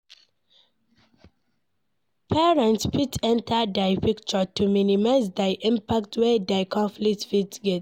Parents fit enter di picture to minimize di impact wey di conflict fit get